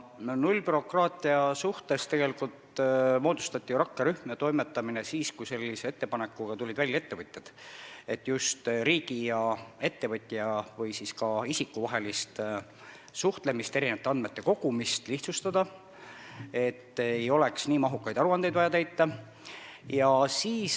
Nullbürokraatiaga toimetamiseks moodustati rakkerühm siis, kui ettevõtjad tulid välja sellise ettepanekuga, et just riigi ja ettevõtja või ka isiku vahelist suhtlemist ja andmete kogumist tuleks lihtsustada, et ei oleks vaja täita nii mahukaid aruandeid.